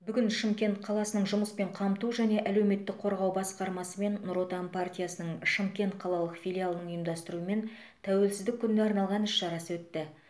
бүгін шымкент қаласының жұмыспен қамту және әлеуметтік қорғау басқармасы мен нұр отан партиясының шымкент қалалық филиалының ұйымдастыруымен тәуелсіздік күніне арналған іс шарасы өтті